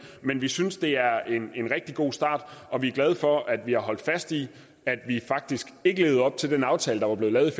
men vi synes det er en rigtig god start og vi er glade for at vi har holdt fast i at vi faktisk ikke levede op til den aftale der var blevet lavet i